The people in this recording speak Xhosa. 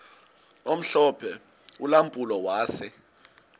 omhlophe ulampulo wase